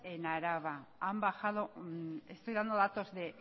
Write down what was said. en álava han bajado estoy dando datos de